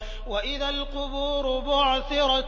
وَإِذَا الْقُبُورُ بُعْثِرَتْ